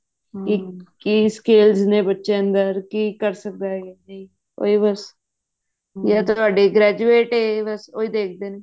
ਵੀ ਕੀ skills ਨੇ ਬੱਚੇ ਅੰਦਰ ਕੀ ਕਰ ਸਕਦਾ ਹੈ ਉਹੀ ਬਸ ਜਾ ਤਾਂ ਤੁਹਾਡੇ graduate ਹੈ ਬਸ ਇਹੀ ਦੇਖਦੇ ਨੇ